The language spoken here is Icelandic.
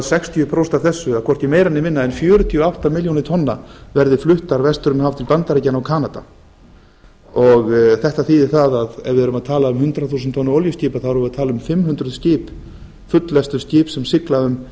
sextíu prósent af þessu eða hvorki meira né minna en fjörutíu og átta milljónir tonna verði fluttar vestur um haf til bandaríkjanna og kanada þetta þýðir það að ef við erum að tala um hundrað þúsund tonna olíuskip þá erum við að tala um fimm hundruð fulllestuð skip sem sigla um